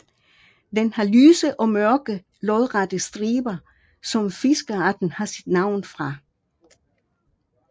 Den har lyse og mørke lodrette striber som fiskearten har sit navn fra